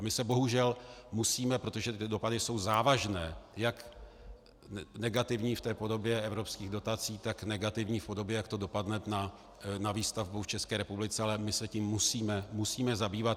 A my se bohužel musíme, protože ty dopady jsou závažné, jak negativní v té podobě evropských dotací, tak v negativní podobě, jak to dopadne na výstavbu v České republice, ale my se tím musíme zabývat.